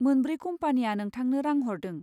मोनब्रै कम्पानिया नोंथांनो रां हरदों।